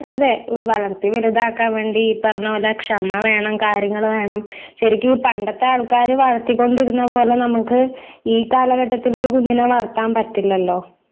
അതേ ഒരു വളർത്തി വലുതാക്കാൻ വേണ്ടി ഈ പറഞ്ഞ പോലെ ക്ഷമ വേണം കാര്യങ്ങള് വേണം ശരിക്കീ പണ്ടത്തെ ആൾക്കാര് വളർത്തി കൊണ്ടിരുന്നത് പോലെ നമുക്ക് ഈ കാലഘട്ടത്തില് ഒരു കുഞ്ഞിനെ വളർത്താൻ പറ്റില്ലല്ലോ